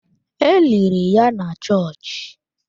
E liri ya na chọọchị.